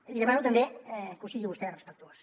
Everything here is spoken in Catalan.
li demano també que ho sigui vostè respectuós